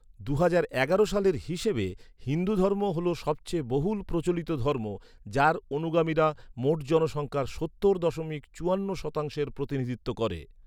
দুহাজার এগারো সালের হিসাবে, হিন্দুধর্ম হল সবচেয়ে বহুল প্রচলিত ধর্ম, যার অনুগামীরা মোট জনসংখ্যার সত্তর দশমিক চুয়ান্ন শতাংশের প্রতিনিধিত্ব করে।